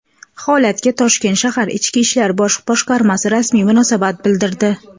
Holatga Toshkent shahar Ichki ishlar bosh boshqarmasi rasmiy munosabat bildirdi.